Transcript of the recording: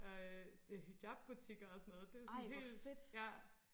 Og øh hijabbutikker og sådan noget det er sådan helt ja